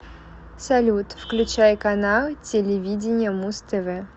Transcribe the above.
салют включай канал телевидения муз тв